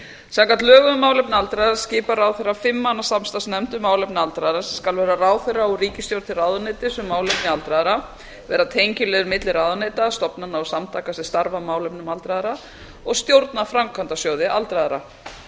samkvæmt lögum um málefni aldraðra skipar ráðherra fimm manna samstarfsnefnd um málefni aldraðra sem skal vera ráðherra og ríkisstjórn til ráðuneytis um málefni aldraðra vera tengiliður milli ráðuneyta stofnana og samtaka sem starfa að málefnum aldraðra og stjórna framkvæmdasjóði aldraðra